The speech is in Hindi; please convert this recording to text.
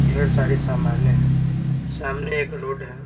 ढेर सारी सामानें हैं सामने एक रोड है।